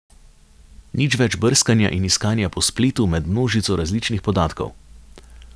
Nič več brskanja in iskanja po spletu med množico različnih podatkov.